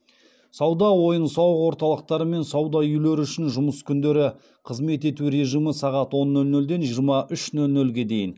сауда ойын сауық орталықтары мен сауда үйлері үшін жұмыс күндері қызмет ету режимі сағат он нөл нөлден жиырма үш нөл нөлге дейін